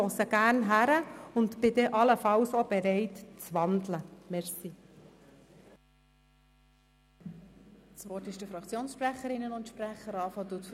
Ich höre gerne zu und bin allenfalls dann auch bereit, den Vorstoss in ein Postulat umzuwandeln.